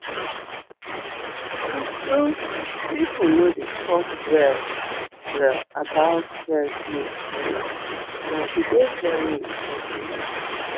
true-true people no dey talk well-well about breast milk storage but e dey very important